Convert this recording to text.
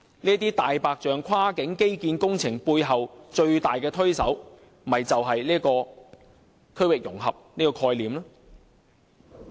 這"大白象"跨境基建工程背後最大的推手，正是區域融合這概念。